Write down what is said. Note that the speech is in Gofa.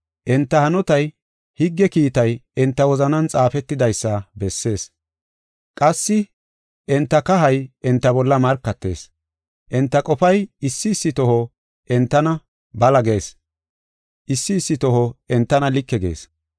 Enta hanotay, higge kiitay enta wozanan xaafetidaysa bessees. Qassi enta kahay enta bolla markatees. Enta qofay issi issi toho entana bala gees; issi issi toho entana like gees.